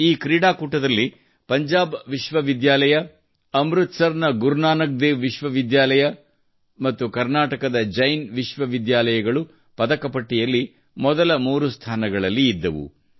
ಈ ಕ್ರೀಡಾಕೂಟದಲ್ಲಿ ಪಂಜಾಬ್ ವಿಶ್ವವಿದ್ಯಾಲಯ ಅಮೃತ್ ಸರ್ ನ ಗುರು ನಾನಕ್ ದೇವ್ ವಿಶ್ವ ವಿದ್ಯಾಲಯ ಮತ್ತು ಕರ್ನಾಟಕದ ಜೈನ್ ವಿಶ್ವವಿದ್ಯಾಲಯಗಳು ಪದಕ ಪಟ್ಟಿಯಲ್ಲಿ ಮೊದಲ ಮೂರು ಸ್ಥಾನಗಳಲ್ಲಿ ಇದ್ದವು